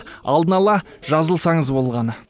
алдын ала жазылсаңыз болғаны